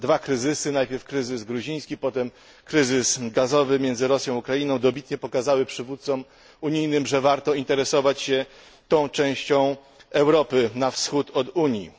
Dwa kryzysy najpierw kryzys gruziński, potem kryzys gazowy między Rosją a Ukrainą dobitnie pokazały przywódcom unijnym, że warto interesować się tą częścią Europy na wschód od Unii.